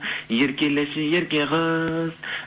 еркелеші ерке қыз